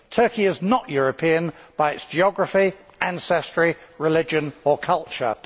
Turkey is not European by its geography, ancestry, religion or culture.